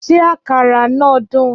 Ṣé àkàrà náà dùn?